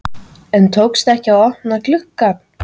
En tókst ekki að opna glugg ann.